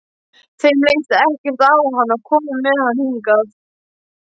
Þeim leist ekkert á hann og komu með hann hingað.